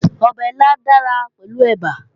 Ọbẹ̀ ilá dára pẹ̀lú ẹ̀bà